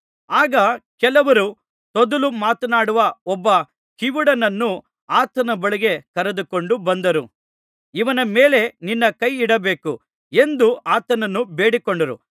ಆಗ ಕೆಲವರು ತೊದಲು ಮಾತನಾಡುವ ಒಬ್ಬ ಕಿವುಡನನ್ನು ಆತನ ಬಳಿಗೆ ಕರೆದುಕೊಂಡು ಬಂದು ಇವನ ಮೇಲೆ ನಿನ್ನ ಕೈಯಿಡಬೇಕು ಎಂದು ಆತನನ್ನು ಬೇಡಿಕೊಂಡರು